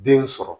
Den sɔrɔ